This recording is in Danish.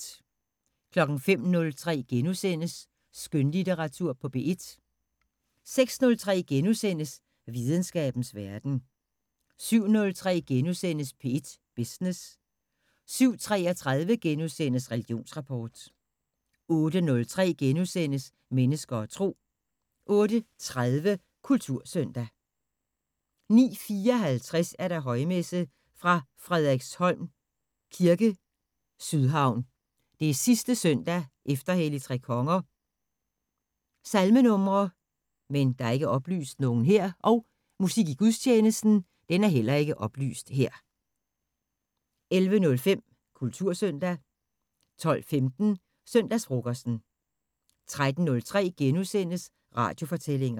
05:03: Skønlitteratur på P1 * 06:03: Videnskabens Verden * 07:03: P1 Business * 07:33: Religionsrapport * 08:03: Mennesker og Tro * 08:30: Kultursøndag 09:54: Højmesse - fra Frederiksholm kirke, Sydhavn. Sidste søndag efter Helligtrekonger. Salmenumre: Musik i gudstjenesten: 11:05: Kultursøndag 12:15: Søndagsfrokosten 13:03: Radiofortællinger *